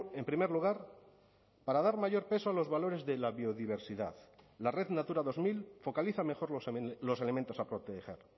en primer lugar para dar mayor peso a los valores de la biodiversidad la red natura dos mil focaliza mejor los elementos a proteger